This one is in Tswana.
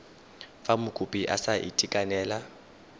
fa mokopi a sa itekanela